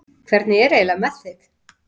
Hvernig er eiginlega með þig?